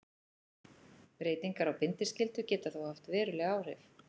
Breytingar á bindiskyldu geta þó haft veruleg áhrif.